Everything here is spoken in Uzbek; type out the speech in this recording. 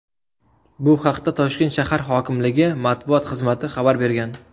Bu haqda Toshkent shahar hokimligi matbuot xizmati xabar bergan .